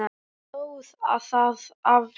Hann stóðst það afl.